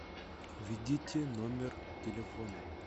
введите номер телефона